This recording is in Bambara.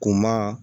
Kun maa